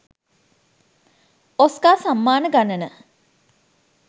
ඔස්කා සම්මාන ගණන